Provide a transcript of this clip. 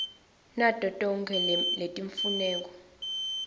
nato tonkhe letimfuneko